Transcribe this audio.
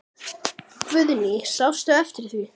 Guðný: Sástu eftir því?